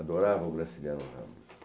Adorava o Graciliano Ramos.